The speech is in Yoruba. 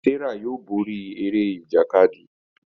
Serah yóò bóri Eré Ìjàkadì.